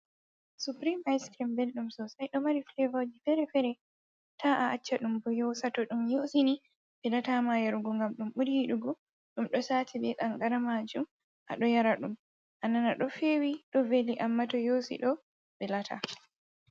Suprem icrime belɗum sosai, ɗo mari fevoji fere-fere, ta a acca ɗum bo yosa to ɗum yosi ni velata ma yarugo, ngam ɗum buri yiɗugo ɗum ɗo sati be kangara majum, a ɗo yara ɗum anana ɗo fewi, ɗo veli amma to yosi ɗo velata.